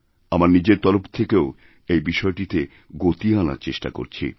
আমার নিজের তরফ থেকেও এইবিষয়টিতে গতি আনার চেষ্টা করেছি